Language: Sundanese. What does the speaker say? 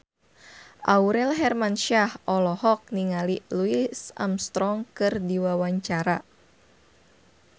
Aurel Hermansyah olohok ningali Louis Armstrong keur diwawancara